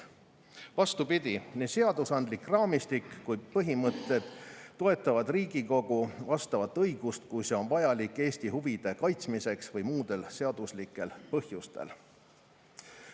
Vastupidi, nii seadusandlik raamistik kui ka põhimõtted toetavad Riigikogu vastavat õigust, kui see on vajalik Eesti huvide kaitsmiseks või muudel seaduslikel põhjustel.